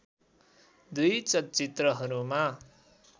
दुई चलचित्रहरूमा